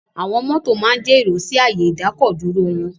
Àwọn mọ́tò máa ń ja èrò sí ààyè ìdákọ̀-dúró wọn.